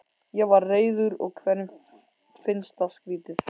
Ég var reiður og hverjum finnst það skrýtið?